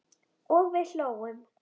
og við hlógum.